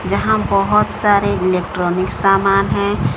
जहां बहोत सारे इलेक्ट्रॉनिक सामान हैं।